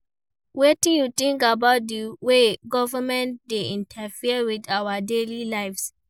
Wetin you think about di way government dey interfere with our daily lives?